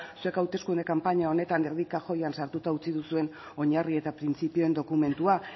zuek hauteskunde kanpaina honetan erdi kajoian sartuta utzi duzuen oinarri eta printzipioen dokumentua